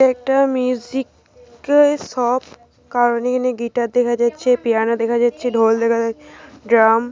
এটা একটা musical shop. কারণ এখানে গিটার দেখা যাচ্ছে পিয়ানো দেখা যাচ্ছে ঢোল দেখা যাচ্ছে ড্রাম ।